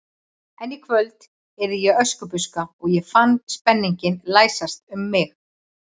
En í kvöld yrði ég Öskubuska og ég fann spenninginn læsast um mig.